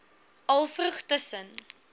al vroeg tussen